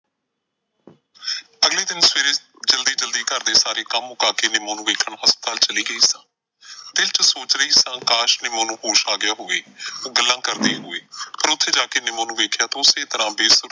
ਘਰ ਦੇ ਸਾਰੇ ਕੰਮ ਮੁਕਾ ਕੇ ਨਿੰਮੋ ਨੂੰ ਵੇਖਣ ਹਸਪਤਾਲ ਚਲੀ ਗਈ ਸਾਂ। ਦਿਲ ਚ ਸੋਚ ਰਹੀ ਸਾਂ ਕਾਸ਼ ਨਿੰਮੋ ਨੂੰ ਹੋਸ਼ ਆ ਗਿਆ ਹੋਵੇ। ਉਹ ਗੱਲਾਂ ਕਰਦੀ ਹੋਈ ਫਿਰ ਉੱਥੇ ਜਾ ਕੇ ਨਿਮੋਂ ਨੂੰ ਵੇਖਿਆ ਤਾਂ ਓਸੇ ਤਰ੍ਹਾਂ ਬੇਹੋਸ਼,